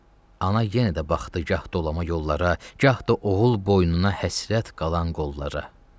Ana yenə də baxdı gah dolama yollara, gah da oğul boynuna həsrət qalan qollara.